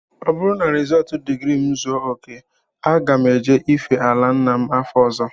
Ọ bụrụ na rizọọtụ digrii m zuo okè, aga m eje ife ala nna m afọ ọzọ